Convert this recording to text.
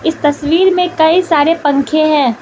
इस तस्वीर में कई सारे पंखे हैं।